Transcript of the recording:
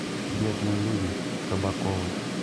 бедные люди кабаковы